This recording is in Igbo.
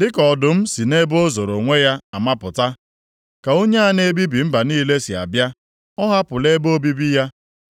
Dịka ọdụm si nʼebe o zoro onwe ya amapụta, ka onye a na-ebibi mba niile si abịa. Ọ hapụla ebe obibi ya,